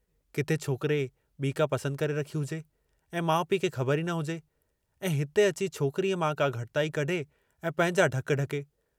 किथे छोकिरे ॿी का पसंदि करे रखी हुजे ऐं माउ पीउ खे ख़बर ई न हुजे ऐं हिते अची छोकरीअ मां का घटताई कढे ऐं पहिंजा ढक ढके।